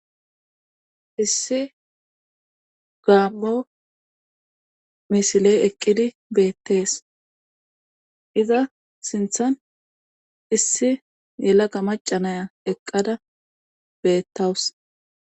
issi gaam7o misiley eqqidi beettees iza sinthan issi yelaga macanaya eqqada beettawus